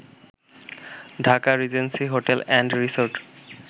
Dhaka Regency hotel and resort